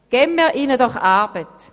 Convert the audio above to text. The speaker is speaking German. Geben wir ihnen doch Arbeit!